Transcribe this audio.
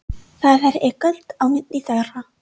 Það er ekkert á milli þeirra.